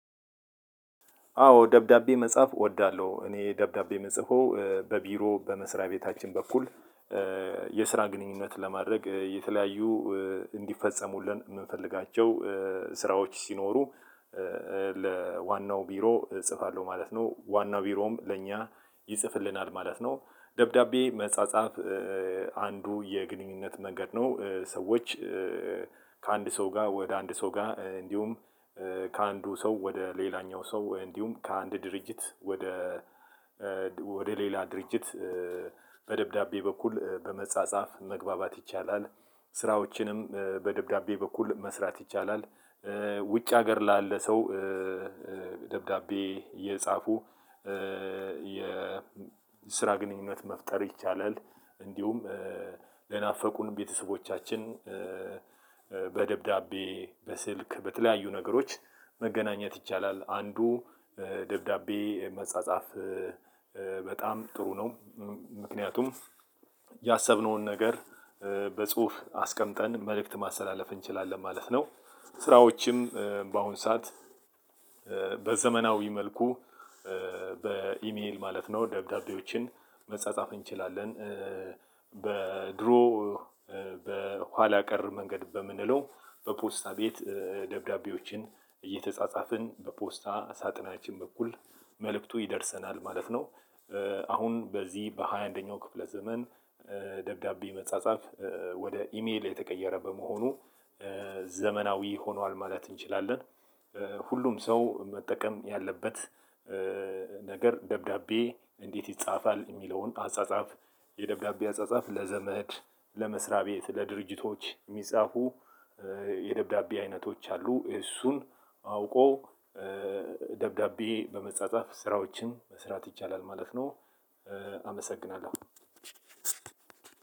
አዎ ደብዳቤ መጻፍ እወዳለው፤ እኔ ደብዳቤ ምጽፈው በቢሮ በመስሪያ ቤታችን በኩል የስራ ግንኙነት ለማድረግ የተለያዩ እንዲፈጸሙልን ምንፈልጋቸው ስራዎች ሲኖሩ ለዋናው ቢሮ እጽፋለሁ ማለት ነው፤ ዋናው ቢሮም ለእኛ ይጽፍልናል ማለት ነው። ደብዳቤ መጻጻፍ አንዱ የግንኙነት መንገድ ነው፤ ሰዎች ከአንድ ሰው ጋር ወደ አንድ ሰው ጋር፤ እንዲሁም ከአንዱ ሰው ወደ ሌላኛው ሰው፤ እንዲሁም ከአንድ ድርጅት ወደ ወደ ሌላ ድርጅት በደብዳቤ በኩል በመጻጻፍ መግባባት ይቻላል። ስራዎችንም በደብዳቤ በኩል መስራት ይቻላል ውጭ ሀገር ላለ ሰው ደብዳቤ እየጻፉ የስራ ግንኙነት መፍጠር ይቻላል፤ እንዲሁም ለናፈቁን ቤተሰቦቻችን በደብዳቤ፣ በስልክ በተለያዩ ነገሮች መገናኘት ይቻላል። አንዱ ደብዳቤ መጻጻፍ በጣም ጥሩ ነው። ምክንያቱም ያሰብነውን ነገር በጽሁፍ አስቀምጠን መልእክት ማስተላለፍ እንችላለን ማለት ነው። ሥራዎችም በአሁን ሰዓት በዘመናዊ መልኩ በኢሜል ማለት ነው ደብዳቤዎችን መጻጻፍ እንችላለን በድሮ በኋላ ቀር መንገድ በምንለው በፖስታ ቤት ደብዳቤዎችን እየተጻጻፍን በፖስታ ሳጥናችን በኩል መልእክቱ ይደርሰናል ማለት ነው። አሁን በዚህ በሃያ አንደኛው ክፍለ ዘመን ደብዳቤ መጻጻፍ ወደ ኢሜል የተቀየረ በመሆኑ ዘመናዊ ሆኗል ማለት እንችላለን። ሁሉም ሰው መጠቀም ያለበት ነገር ደብዳቤ እንዴት ይጻፋል የሚለውን አጻጻፍ የደብዳቤ አጻጻፍ ለዘመድ፣ ለመስሪያ ቤት፣ ለድርጅቶች ሚጻፉ የደብዳቤ አይነቶች አሉ፤ እሱን አውቆ ደብዳቤ በመጻጻፍ ስራዎችን መስራት ይቻላል ማለት ነው። አመሰግናለሁ።